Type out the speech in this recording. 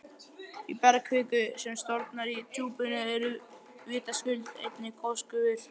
Í bergkviku, sem storknar í djúpinu, eru vitaskuld einnig gosgufur.